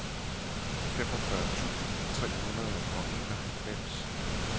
femogfyrre tusind tre hundrede og enoghalvfems